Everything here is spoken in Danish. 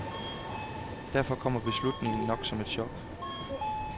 Derfor kommer beslutningen som et chok.